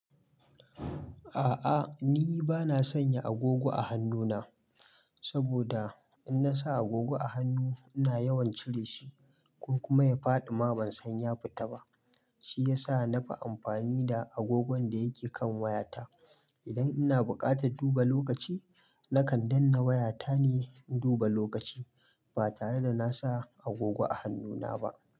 A'a ni bana sanya agogo a hannu na, saboda in na sa agogo a hannu, ina yawan cire shi ko kuma ya faɗi. Ma ban sanya fita ba, shi yasa na fi amfani da agogon da yake kan wayata. Idan ina buƙatar duba lokaci, nakan danne wayata ne in duba lokaci ba tare da na sa agogo a hannu na ba.